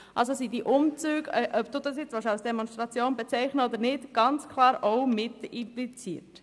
Ob man die Umzüge jetzt als Demonstration bezeichnen will oder nicht, spielt keine Rolle, denn sie sind hier ganz klar mitgemeint.